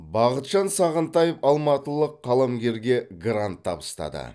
бақытжан сағынтаев алматылық қаламгерге грант табыстады